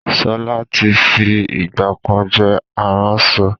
Ṣọlá tí fi ìgbàkan jẹ́ aránṣọ